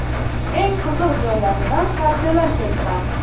Eng qiziq joylaridan parchalar keltiramiz.